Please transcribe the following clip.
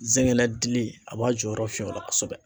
Zɛgɛnɛ dili a b'a jɔyɔrɔ fin o la kosɛbɛ.